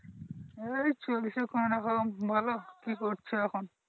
এই চলছে কোন রকম ভালো কি করছো এখন?